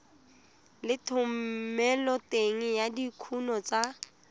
le thomeloteng ya dikuno tsa